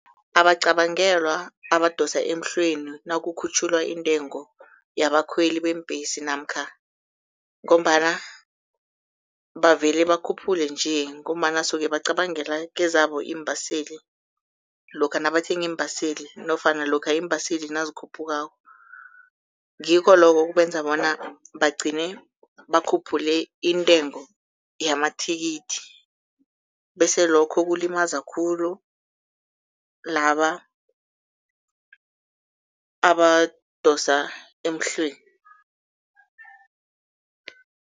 Abacabangelwa abadosa emhlweni nakukhutjhulwa intengo yabakhweli beembhesi namkha ngombana bavele bakhuphule nje ngombana suke bacabangela kezabo iimbaseli lokha nabathenga iimbaseli nofana lokha iimbaseli nazikhuphukako, ngikho lokho ekubenza bona bagcine bakhuphule intengo yamathikithi bese lokho kulimaza khulu laba abadosa emhlweni.